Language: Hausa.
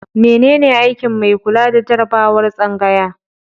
Menene aikin mai kula da jarabawar tsangaya?